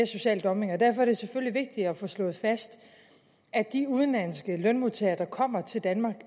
social dumping og derfor er det selvfølgelig vigtigt at få slået fast at de udenlandske lønmodtagere der kommer til danmark